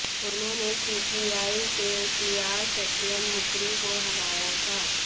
उन्होंने सीपीआइ के पीआर सत्यन मुकरी को हराया था